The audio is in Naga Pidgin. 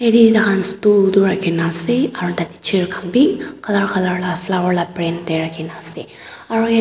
Yathe takhan stool tuh rakhina ase aro tatey chair khan bhi colour colour la flower la brand dae rakhina ase aro yateh--